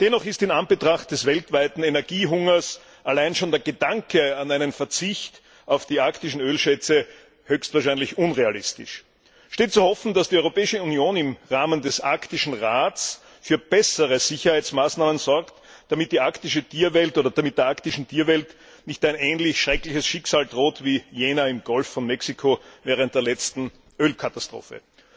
Dennoch ist in Anbetracht des weltweiten Energiehungers allein schon der Gedanke an einen Verzicht auf die arktischen Ölschätze höchstwahrscheinlich unrealistisch. Es ist zu hoffen, dass die Europäische Union im Rahmen des Arktischen Rats für bessere Sicherheitsmaßnahmen sorgt, damit der arktischen Tierwelt nicht ein ähnlich schreckliches Schicksal droht wie jener im Golf von Mexiko während der letzten Ölkatastrophe.